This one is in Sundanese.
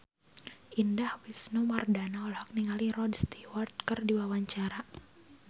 Indah Wisnuwardana olohok ningali Rod Stewart keur diwawancara